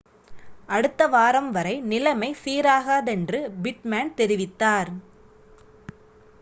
அடுத்த வாரம் வரை நிலைமை சீராகாதென்று பிட்மேன் தெரிவித்தார்